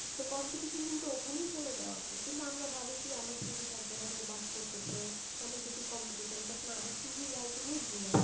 তো competition কিন্তু ওখানেই চলে যায় অর্ধেক, কিন্তু আমরা ভাবি কি আমার CV সব জায়গা থেকে বাদ পরতেসে, অনেক বেশি competition, but না, আমার CV writing এই ভুল আছে।